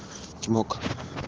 чмок